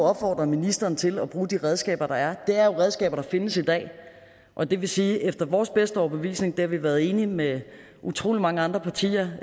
opfordret ministrene til at bruge de redskaber der er det er redskaber der findes i dag og det vil sige at efter vores bedste overbevisning og det har vi været enige med utrolig mange andre partier